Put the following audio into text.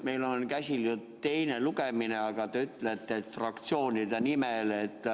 Meil on käsil teine lugemine, aga te ütlete, et kõneldakse fraktsioonide nimel.